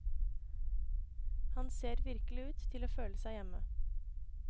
Han ser virkelig ut til å føle seg hjemme.